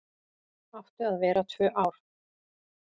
Áttu að vera tvö ár